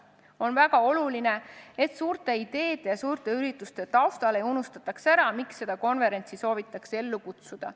On väga oluline, et suurte ideede ja suurte ürituste taustal ei unustataks ära, miks seda konverentsi soovitakse ellu kutsuda.